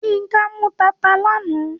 Yínká mú tata lánàá.